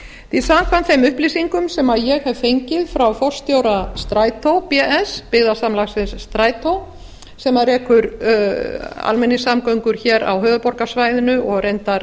því samkvæmt þeim upplýsingum sem ég hef fengið frá forstjóra strætó bs sem rekur almenningssamgöngur á höfuðborgarsvæðinu og reyndar